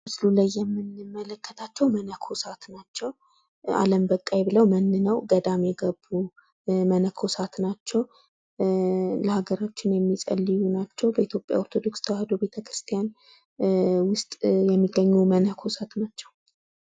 በምስሉ ላይ የምንመለከታቸው መነኮሳት ናቸው። አለም በቃኝ ብለው መንነው ገዳም የገቡ መነኮሳት ናቸው። ለሀገራችን ጸሎትን የሚጸልዩ ናቸው። በኢትዮጵያ ኦርቶዶክስ ተዋሕዶ ቤተክርስቲያን ውስጥ የሚገኙ መነኮሳት ናቸው።